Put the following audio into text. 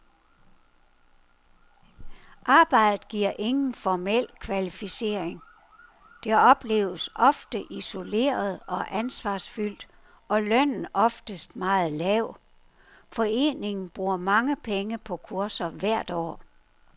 Arbejdet giver ingen formel kvalificering, det opleves ofte isoleret og ansvarsfyldt, og lønnen oftest meget lav. Foreningen bruger mange penge på kurser hvert år.